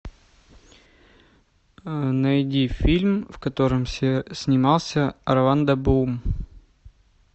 найди фильм в котором снимался орландо блум